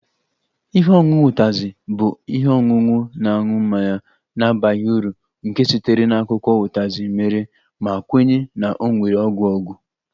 Ihe ọṅụṅụ Utazi bụ ihe ọṅụṅụ na-aṅụ mmanya na-abaghị uru nke sitere na akwụkwọ Utazi mere ma kwenye na ọ nwere ọgwụ ọgwụ